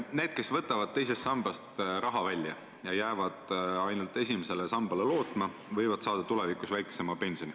Need, kes võtavad teisest sambast raha välja ja jäävad ainult esimesele sambale lootma, võivad saada tulevikus väiksema pensioni.